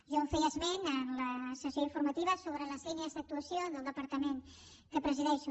jo feia esment en la sessió informativa sobre les línies d’actuació del departament que presideixo